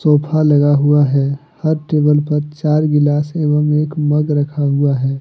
Sofa लगा हुआ है हर टेबल पर चार गिलास एवं एक मग रखा हुआ है।